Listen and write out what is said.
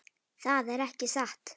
Það er ekki satt.